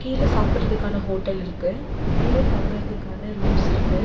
கீழ சாப்ட்றதுக்கான ஹோட்டல் இருக்கு மேல தங்குறதுக்கான ரூம்ஸ் இருக்கு.